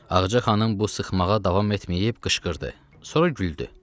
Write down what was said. Ağca xanım bu sıxmağa davam etməyib qışqırdı, sonra güldü.